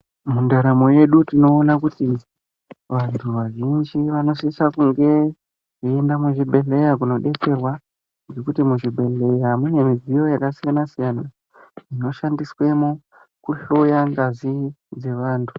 Mundaramo yedu tinoona kuti vanhu vazhinji vanosisa kunge veienda kuzvibhedhleya kunobetsera nekuti muzvibhedhleya mune midziyo yakasiyana siyana inoshandiswemo kuhloya ngazi dzevantu.